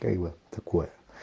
как бы такое